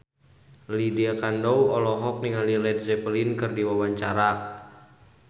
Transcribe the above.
Lydia Kandou olohok ningali Led Zeppelin keur diwawancara